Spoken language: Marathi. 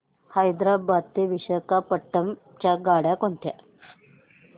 हैदराबाद ते विशाखापट्ण्णम च्या गाड्या कोणत्या